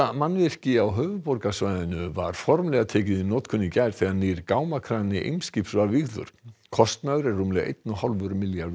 mannvirki á höfuðborgarsvæðinu var formlega tekið í notkun í gær þegar nýr gámakrani Eimskips var vígður kostnaður er rúmlega einn og hálfur milljarður